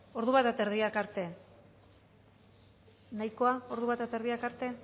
hamairuhogeita hamarak arte nahikoa hamairuhogeita hamarak arte